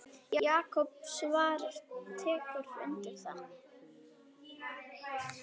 Jakob Svavar tekur undir það.